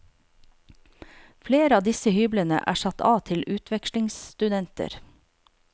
Flere av disse hyblene er satt av til utvekslingsstudenter.